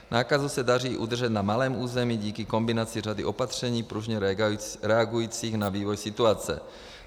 Nákazu se daří udržet na malém území díky kombinaci řady opatření pružně reagujících na vývoj situace.